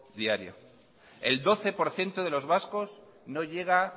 diarias el doce por ciento de los vascos no llega